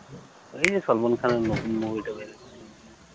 ওই যে সালমান খানের নতুন movie টা